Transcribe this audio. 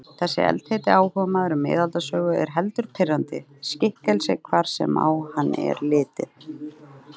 Þessi eldheiti áhugamaður um miðaldasögu er heldur pirrandi skikkelsi hvar sem á hann er litið.